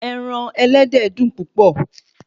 Ẹran ẹlẹ́dẹ̀ dùn púpọ̀